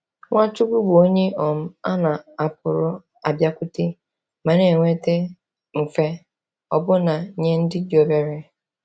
Nwachukwu bụ onye um a na-apụrụ abịakwute ma na-enweta mfe, ọbụna nye ndị dị obere.